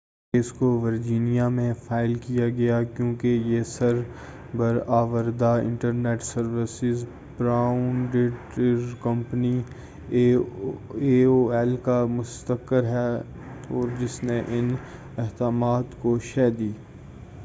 اس کیس کو ورجینیا میں فائل کیا گیا کیوں کہ یہ سر بر آوردہ internet service provider company A O L کا مستقر ہے اور جس نے ان اتہامات کو شہ دی